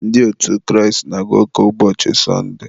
ndị otu Kraịst na-aga ụka ụbọchị sọndee.